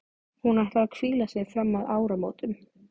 Hún ætlar að hvíla sig fram að áramótum.